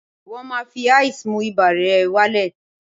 Wọ́n máa fi ice mú ibà rẹ̀ wá lẹ̀